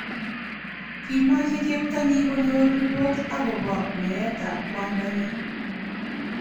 Kimache cheptonyi konyor ripot akobo meetab kwandanyi.